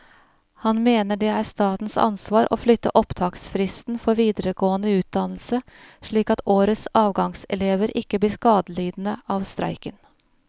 Han mener det er statens ansvar å flytte opptaksfristen for videregående utdannelse, slik at årets avgangselever ikke blir skadelidende av streiken.